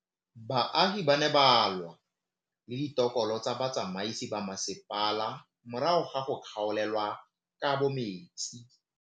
Baagi ba ne ba lwa le ditokolo tsa botsamaisi ba mmasepala morago ga go gaolelwa kabo metsi.